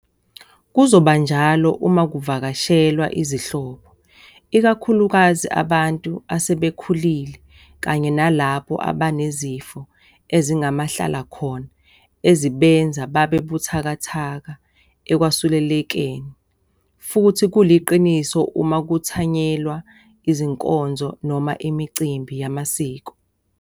Kuzoba njalo uma ku vakashelwa izihlobo, ikakhulukazi abantu asebekhulile kanye nalabo abanezifo ezingamahlalakhona ezibenza babe buthakathaka ekwesulelekeni. Futhi kuliqiniso uma kuthanyelwa izinkonzo noma imicimbi yamasiko.